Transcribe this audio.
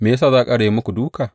Me ya sa za a ƙara yin muku dūka?